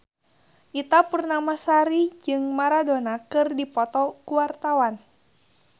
Ita Purnamasari jeung Maradona keur dipoto ku wartawan